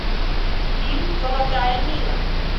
фильм золотая мина